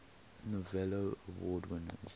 novello award winners